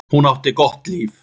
Hún átti gott líf.